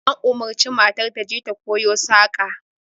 An umarci matar ta je ta kowo saƙa